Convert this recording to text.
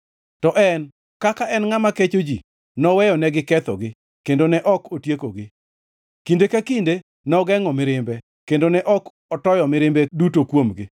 To en, kaka en ngʼama kecho ji, noweyonegi kethogi, kendo ne ok otiekogi. Kinde ka kinde nogengʼo mirimbe kendo ne ok otoyo mirimbe duto kuomgi.